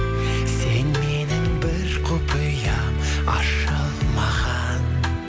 сен менің бір құпиям ашылмаған